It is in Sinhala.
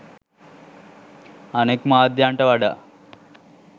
අනෙක් මාධ්‍යන්ට වඩා